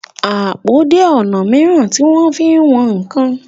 àpò jé ọnà míràn tí wón fín wón nkán.